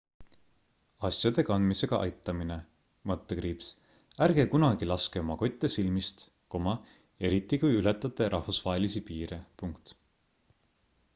asjade kandmisega aitamine ärge kunagi laske oma kotte silmist eriti kui ületate rahvusvahelisi piire